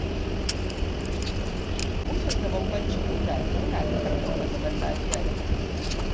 Mutunta bambancin mutane yana ƙarfafa zaman lafiya da haɗin kai